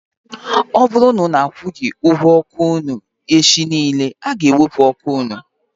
Ọ bụrụ na unu akwughi ụgwọ ọkụ unu echi niile, a ga ewepu ọkụ unu